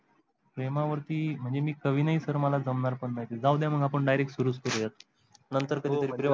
प्रेमावरती म्हणजे मी कवी नई sir मला ते जमणार पण नाही जाऊद्या आपण direct सुरुवात च करू यात नंतर कधी तरी